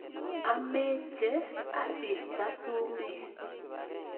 Ameche aista sumek